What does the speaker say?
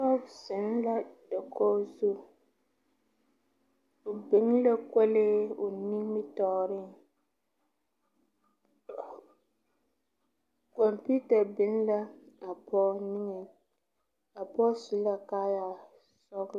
Pɔge zeŋ la dakogi zu, o biŋ la kolee o nimitɔɔre, computer biŋ la a pɔge niŋe, a pɔge su la kaaya sɔglo.